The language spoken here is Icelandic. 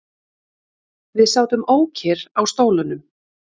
Við sátum ókyrr á stólunum.